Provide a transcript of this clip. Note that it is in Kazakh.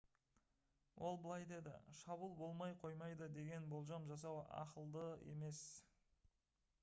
ол былай деді: «шабуыл болмай қоймайды деген болжам жасау ақылды емес»